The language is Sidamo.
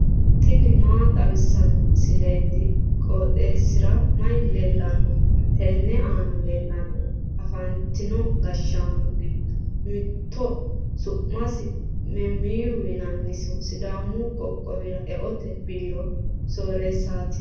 tini maa xawissanno misileeti? qooxeessisera may leellanno? tenne aana leellannori afantino gashshaano giddo mittoho su'masi memmiiru yinannisi sidaamu qoqqowira e"ote biiro sooreessaati.